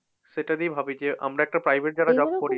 সেটা নিয়ে ভাবি যে আমরা একটা private যারা job করি